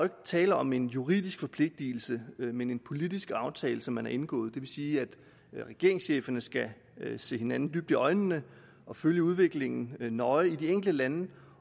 tale om en juridisk forpligtelse men en politisk aftale som man har indgået det vil sige at regeringscheferne skal se hinanden dybt i øjnene og følge udviklingen nøje i de enkelte lande